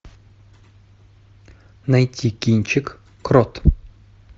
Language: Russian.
найти кинчик крот